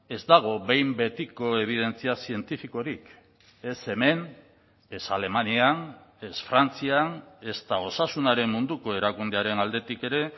ez dago behin betiko ebidentzia zientifikorik ez hemen ez alemanian ez frantzian ezta osasunaren munduko erakundearen aldetik ere